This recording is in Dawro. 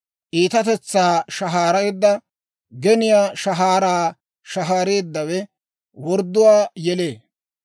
Iitatetsaa shahaareedda, geniyaa shahaara shahaareeddawe, wordduwaa yelee.